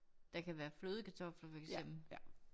Der kan være flødekartofler for eksempel